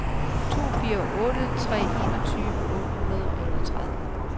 to fire otte tre enogtyve otte hundrede og enogtredive